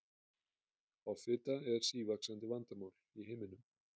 Offita er sívaxandi vandamál í heiminum.